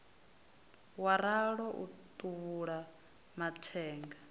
wa ralo u thuvhula mathenga